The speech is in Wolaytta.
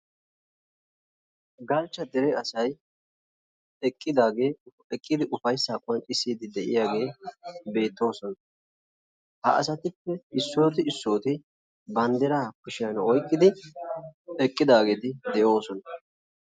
Galchcha dere asaay eqqidage, eqqidi ufayssa qonccissidi de'iyagee beettoosona. Ha asatuppe issoti issoti banddira kushiyan oyqqidi eqqidageti de'osona.